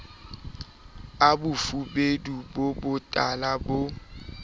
a bofubedu bo botala bo